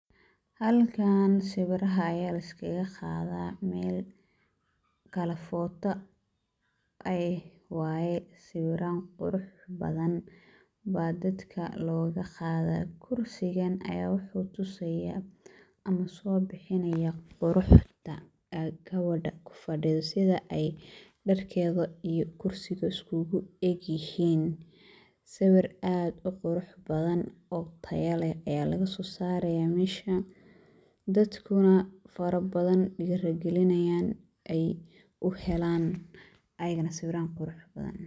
Halkaan sawiraha ayaa laiskaga qaadaa. Meel galary photo eh waay. Sawiraan qurux badan baa dadka loogu qaadaa. Kursigan ayaa waxuu tusayaa ama soo bixinayaa quruxda gabadha ku fidhida sida ay dharkeeda iyo kursiga uskugu egyihiin. Sawir aad u qurux badan oo taya leh ayaa laga soo saarayaa meesha. Dadkuna in farabadan dhiirigelinayan in ay u helaan ayigana sawirahaan quruxda badan.